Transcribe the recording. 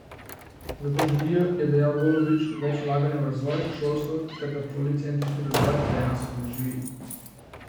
Zato želijo, je dejal Golobič, več vlaganja v razvoj, šolstvo ter da policentrični razvoj dejansko zaživi.